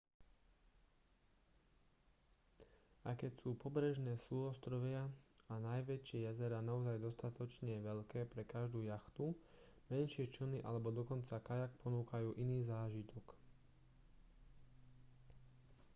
aj keď sú pobrežné súostrovia a najväčšie jazerá naozaj dostatočne veľké pre každú jachtu menšie člny alebo dokonca kajak ponúkajú iný zážitok